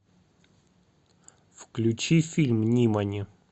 включи фильм нимани